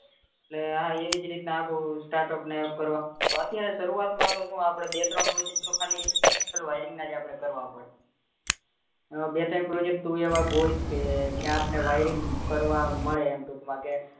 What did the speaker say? એટલે એવીજ રીતના આખું startup ને કરવાનું અત્યારે શરૂવાત માં તો આપડે શું બે ત્રણ project ઓ ખાલી special wiring નાજ કરવા પડે બે ત્રણ project તું એવા ગોઈત કે જ્યાં આપણને wiring કરવા મળે એમ ટુક માં કે